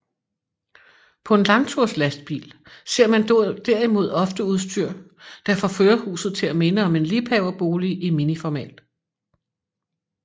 På en langturslastbil ser man derimod ofte udstyr der får førerhuset til at minde om en liebhaverbolig i miniformat